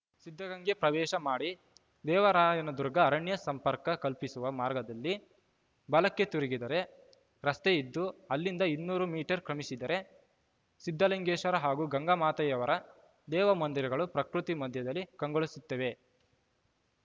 ಸಿದ್ಧಗಂಗೆ ಪ್ರವೇಶ ಮಾಡಿ ದೇವರಾಯನದುರ್ಗ ಅರಣ್ಯ ಸಂಪರ್ಕ ಕಲ್ಪಿಸುವ ಮಾರ್ಗದಲ್ಲಿ ಬಲಕ್ಕೆ ತಿರುಗಿದರೆ ರಸ್ತೆಯಿದ್ದು ಅಲ್ಲಿಂದ ಇನ್ನೂರು ಮೀಟರ್‌ ಕ್ರಮಿಸಿದರೆ ಸಿದ್ಧಲಿಂಗೇಶ್ವರ ಹಾಗೂ ಗಂಗಾಮಾತೆಯವರ ದೇವ ಮಂದಿರಗಳು ಪ್ರಕೃತಿ ಮಧ್ಯದಲ್ಲಿ ಕಂಗೊಳಿಸುತ್ತಿವೆ